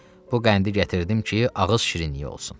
Bu qəndi gətirdim ki, ağız şirinliyi olsun.